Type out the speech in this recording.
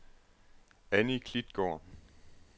Annie Klitgaard